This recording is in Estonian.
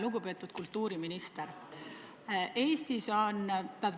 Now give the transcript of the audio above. Lugupeetud kultuuriminister!